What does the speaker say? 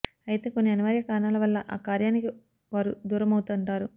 అయితే కొన్ని అనివార్య కారణాల వల్ల ఆ కార్యానికి వారు దూరమవుతుంటారు